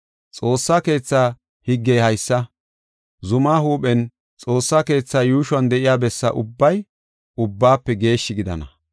Xoossa keetha higgey haysa, zumaa huuphen, Xoossa keethaa yuushuwan de7iya bessa ubbay Ubbaafe Geeshshi gidana.”